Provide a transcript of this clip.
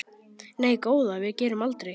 Nei góða, við gerum aldrei.